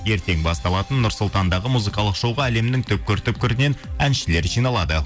ертең басталатын нұр сұлтандағы музыкалық шоуға әлемнің түпкір түпкірінен әншілер жиналады